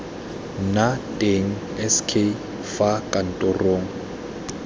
nna teng sk fa kantoro